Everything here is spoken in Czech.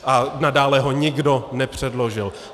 A nadále ho nikdo nepředložil.